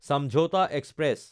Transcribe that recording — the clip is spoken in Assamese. চামঝাওঁতা এক্সপ্ৰেছ